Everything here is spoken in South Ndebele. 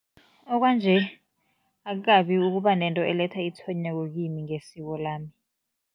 Okwanje akukabi ukuba nento eletha itshwenyeko ngesiko lami.